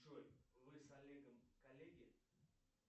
джой вы с олегом коллеги